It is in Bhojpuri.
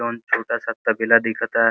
जॉन छोटा सा तबेला दीखता।